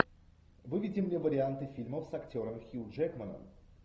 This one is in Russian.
выведи мне варианты фильмов с актером хью джекманом